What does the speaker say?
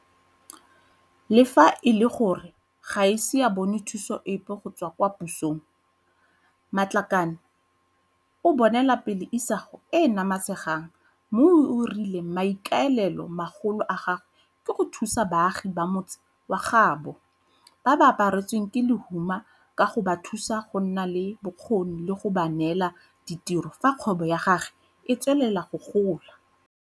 Le fa e le gore ga a ise a bone thuso epe go tswa kwa pusong, Matlakane o bonelapele isago e e namatshang mme o rile maikaelelo magolo a gagwe ke go thusa baagi ba motse wa gaabo ba ba apa retsweng ke lehuma ka go ba thusa go nna le bokgoni le go ba neela ditiro fa kgwebo ya gagwe e tswelela go gola.